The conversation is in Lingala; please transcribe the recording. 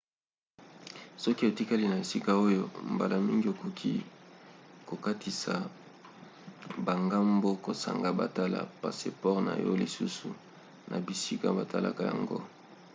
soki otikali na esika oyo mbala mingi okoki kokatisa bangambo kozanga batala passeport na yo lisusu na bisika batalaka yango